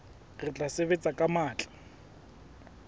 re tla sebetsa ka matla